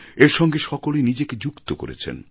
এর সঙ্গে সকলে নিজেকে যুক্ত করেছেন